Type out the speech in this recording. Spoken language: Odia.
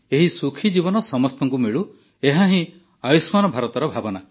ଏହି ସୁଖୀ ଜୀବନ ସମସ୍ତଙ୍କୁ ମିଳୁ ଏହାହିଁ ଆୟୁଷ୍ମାନ ଭାରତର ଭାବନା